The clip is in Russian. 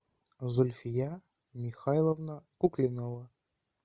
зульфия михайловна куклинова